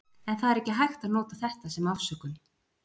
En það er ekki hægt að nota þetta sem afsökun.